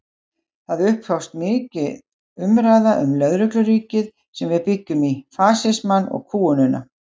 Það upphófst mikil umræða um lögregluríkið sem við byggjum í, fasismann og kúgunina.